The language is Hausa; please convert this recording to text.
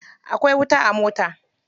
Akwai wuta a mota.